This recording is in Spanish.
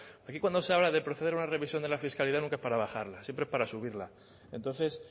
aquí cuando se habla de proceder a una revisión de la fiscalidad nunca es para rebajarla siempre es para subirla entonces